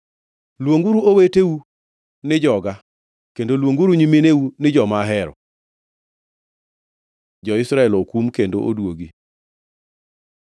“Luonguru oweteu ni ‘Joga,’ kendo luonguru nyimineu ni ‘Joma ahero.’ ” Jo-Israel okum kendo oduogi